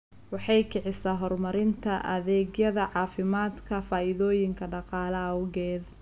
Waxay kicisaa horumarinta adeegyada caafimaadka faa'iidooyinka dhaqaale awgeed.